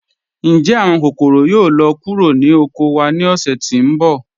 Ǹjẹ́ awọn kòkọ̀rò yóò lọ kúrò ni oko wa ni ọ̀ṣẹ̀ tí nbọ̀?